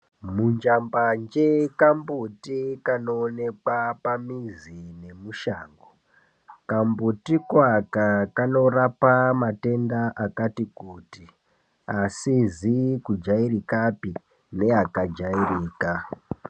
Munjambanje kambuti kanoonekwa pamizi nemushango. Kambutiko aka kanorapa matenda akati kuti, asizi kujairikapi neakajairika.